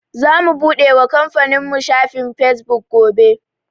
Zamu buɗe wa kamfanin mu shafin Fesbuk gobe.